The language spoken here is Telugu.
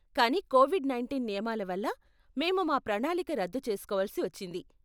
కానీ కోవిడ్ నైంటీన్ నియమాల వల్ల మేము మా ప్రణాళిక రద్దు చేస్కోవలసి వచ్చింది.